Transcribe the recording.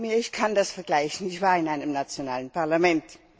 Glauben Sie mir, ich kann das vergleichen, ich war in einem nationalen Parlament.